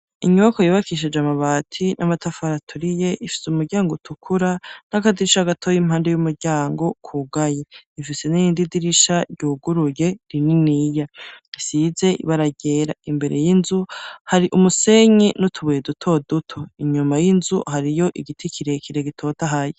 Inyubakwa yubakishije amabati n'amatafari aturiye, ifise umuryango utukura, n'akadirisha gatoyi impande y'umuryango, kugaye. Ifise n'irindi dirisha ryuguruye rininiya, risize ibara ryera. Imbere y'inzu, hari umusenyi n'utubuye dutoduto. Inyuma y'inzu hariyo igiti kirekire gitotahaye.